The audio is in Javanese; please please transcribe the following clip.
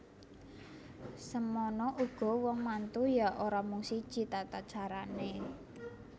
Semana uga wong mantu ya ora mung siji tatacarane